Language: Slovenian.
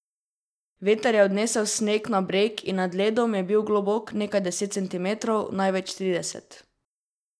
Veter je odnesel sneg na breg in nad ledom je bil globok nekaj deset centimetrov, največ trideset.